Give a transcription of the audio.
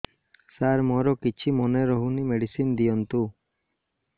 ସାର ମୋର କିଛି ମନେ ରହୁନି ମେଡିସିନ ଦିଅନ୍ତୁ